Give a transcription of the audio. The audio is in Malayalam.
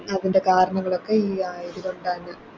അതിൻറെ കാരണങ്ങളൊക്കെ ഈ ആയത് കൊണ്ടാണ്